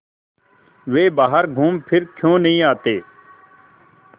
वे बाहर घूमफिर क्यों नहीं आते